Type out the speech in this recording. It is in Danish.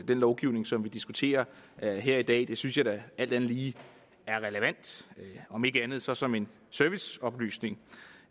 den lovgivning som vi diskuterer her i dag det synes jeg da alt andet lige er relevant om ikke andet så som en serviceoplysning